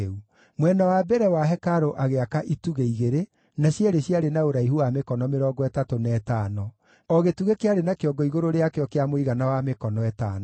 Mwena wa mbere wa hekarũ agĩaka itugĩ igĩrĩ, na cierĩ ciarĩ na ũraihu wa mĩkono mĩrongo ĩtatũ na ĩtano; o gĩtugĩ kĩarĩ na kĩongo igũrũ rĩakĩo kĩa mũigana wa mĩkono ĩtano.